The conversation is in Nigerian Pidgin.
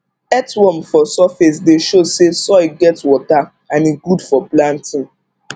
earthworm for surface dey show say soil get water and e good for planting